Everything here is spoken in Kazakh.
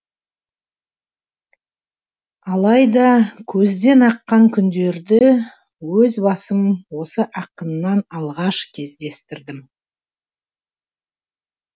алайда көзден аққан күндерді өз басым осы ақыннан алғаш кездестірдім